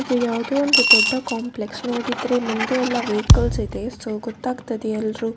ಇದು ಯಾವುದೋ ಒಂದು ದೊಡ್ಡ ಕಾಂಪ್ಲೆಕ್ಸ್‌ ನೋಡಿದ್ರೆ ಮುಂದೆ ಎಲ್ಲಾ ವೆಹಿಕಲ್ಸ್‌ ಇದೆ ಸೊ ಗೊತ್ತಾಗ್ತದೆ ಎಲ್ರು --